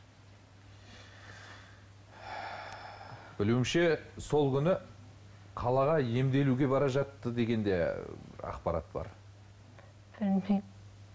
білуімше сол күні қалаға емделуге бара жатты деген де ақпарат бар білмеймін